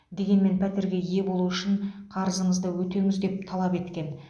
дегенмен пәтерге ие болу үшін қарызыңызды өтеңіз деп талап еткен